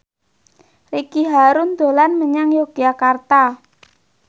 Ricky Harun dolan menyang Yogyakarta